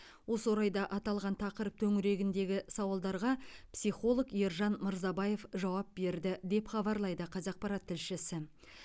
осы орайда аталған тақырып төңірегіндегі сауалдарға психолог ержан мырзабаев жауап берді деп хабарлайды қазақпарат тілшісі